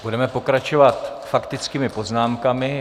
Budeme pokračovat faktickými poznámkami.